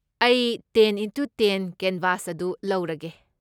ꯑꯩ ten into ten canvas ꯑꯗꯨ ꯂꯧꯔꯒꯦ꯫